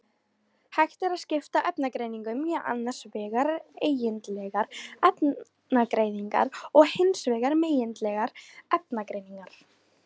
Hægt er að skipta efnagreiningum í annars vegar eigindlegar efnagreiningar og hins vegar megindlegar efnagreiningar.